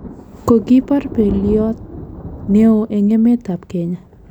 kokipar pelyot neoon en emet ab Kenya